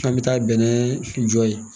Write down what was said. An bɛ taa bɛnɛ jɔ yen